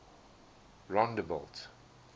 rondebult